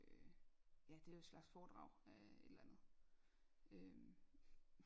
øh ja det er jo et slags foredrag øh et eller andet øhm